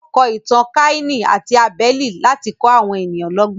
Wọ́n kọ Ìtàn Káínì àti Abẹ́lì láti kọ́ àwọn èèyàn lọ́gbọ́n.